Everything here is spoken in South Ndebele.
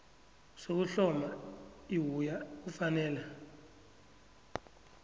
sokuhloma iwua kufanele